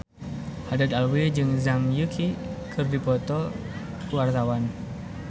Haddad Alwi jeung Zhang Yuqi keur dipoto ku wartawan